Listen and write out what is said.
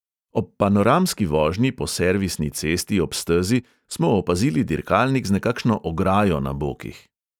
Ob panoramski vožnji po servisni cesti ob stezi smo opazili dirkalnik z nekakšno ograjo na bokih.